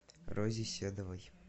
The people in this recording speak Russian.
розе седовой